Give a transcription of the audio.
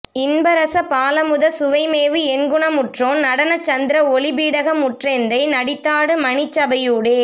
இன்பரசப் பாலமுதச் சுவைமேவு எண்குணமுற்றோன் நடனச் சந்த்ர ஒளிப் பீடகமுற் றெந்தை நடித்தாடு மணிச் சபையூடே